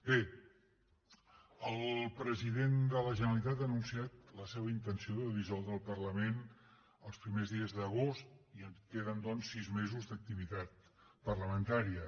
bé el president de la generalitat ha anunciat la seva intenció de dissoldre el parlament els primers dies d’agost i queden doncs sis mesos d’activitat parlamentària